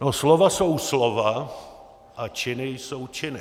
No, slova jsou slova a činy jsou činy.